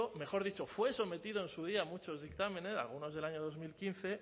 mejor dicho fue sometido en su día a muchos dictámenes algunos del año dos mil quince